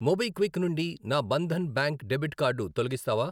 MobiKwik నుండి నా Bandhan bank debit card తొలగిస్తావా?